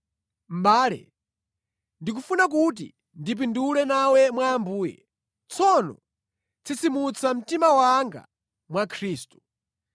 Mʼbale, ndikufuna kuti ndipindule nawe mwa Ambuye; tsono tsitsimutsa mtima wanga mwa Khristu.